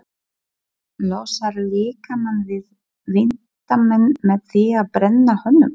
Losar líkamann við vínandann með því að brenna honum.